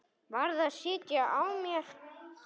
Varð að sitja á mér.